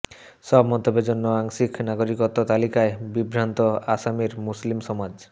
সব মন্তব্যের জন্য আংশিক নাগরিকত্ব তালিকায় বিভ্রান্ত আসামের মুসলিম সমাজ